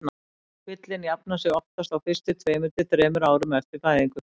Kvillinn jafnar sig oftast á fyrstu tveimur til þremur árum eftir fæðingu.